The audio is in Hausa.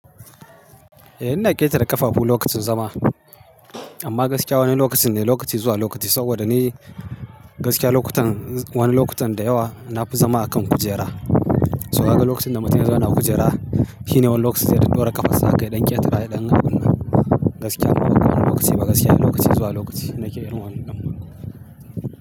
Eh ina ƙetare ƙafafu lokacin zama, amma gaskiya wani lokacin ne lokaci zuwa lokaci saboda ni gaskiya lokutan, wani lokutan da yawa na fi zama a kan kujera. Saboda kaga lokacin da mutum ya zauna a kujera shine wani lokaci zai dan dora ƙafar a kai ya ɗan ƙetara ya ɗan abunnan. Gaskiya nawa kuna lokaci ba gaskiya lokaci zuwa lokaci nake yin wannan damuwa.